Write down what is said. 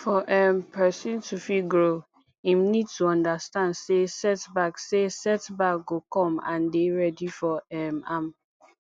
for um perosn to fit grow im need to understand sey set back sey set back go come and dey ready for um am